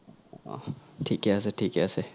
অহ থিকে আচে থিকে আচে